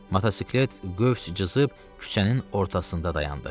Motosiklet qövs çızıb küçənin ortasında dayandı.